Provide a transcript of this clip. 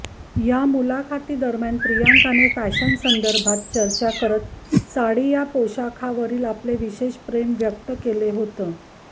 या मुलाखतीदरम्यान प्रियंकाने फॅशनसंदर्भात चर्चा करत साडी या पोषाखावरील आपले विशेष प्रेम व्यक्त केलं होतं